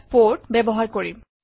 port ব্যৱহাৰ কৰিম